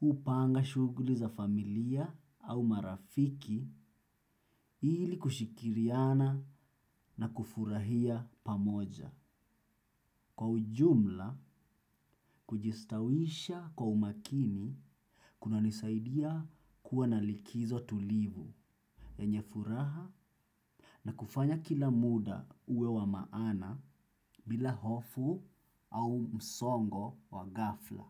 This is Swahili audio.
hupanga shughuli za familia au marafiki ili kushirikiana na kufurahia pamoja. Kwa ujumla, kujistawisha kwa umakini, kuna nisaidia kuwa na likizo tulivu yenye furaha na kufanya kila muda uwe wa maana bila hofu au msongo wa ghafla.